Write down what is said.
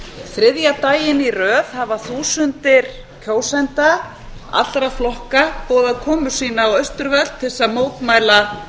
þriðja daginn í röð hafa þúsundir kjósenda allra flokka boðað komu sína á austurvöll til að mótmæla